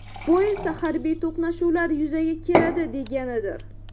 Bu esa harbiy to‘qnashuvlar yuzaga keladi deganidir.